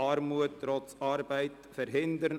«Armut trotz Arbeit verhindern: